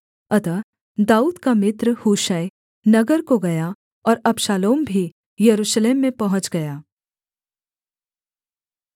अतः दाऊद का मित्र हूशै नगर को गया और अबशालोम भी यरूशलेम में पहुँच गया